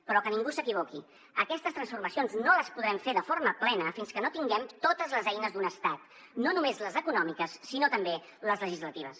però que ningú s’equivoqui aquestes transformacions no les podrem fer de forma plena fins que no tinguem totes les eines d’un estat no només les econòmiques sinó també les legislatives